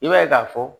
I b'a ye k'a fɔ